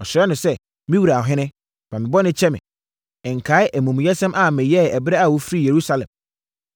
Ɔsrɛɛ no sɛ, “Me wura ɔhene, fa me bɔne kyɛ me. Nkae amumuyɛsɛm a meyɛeɛ ɛberɛ a wofirii Yerusalem.